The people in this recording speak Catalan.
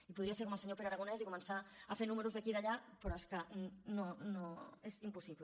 i podria fer com el senyor pere aragonès i començar a fer números d’aquí i d’allà pe·rò és que no és impossible